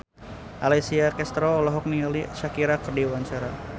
Alessia Cestaro olohok ningali Shakira keur diwawancara